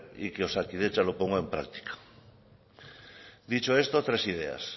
y que osakidetza lo ponga en práctica dicho esto tres ideas